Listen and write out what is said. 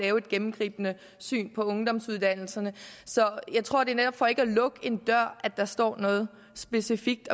et gennemgribende syn på ungdomsuddannelserne så jeg tror det netop er for ikke at lukke en dør at der ikke står noget specifikt